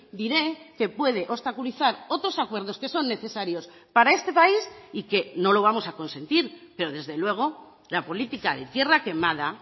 diré que puede obstaculizar otros acuerdos que son necesarios para este país y que no lo vamos a consentir pero desde luego la política de tierra quemada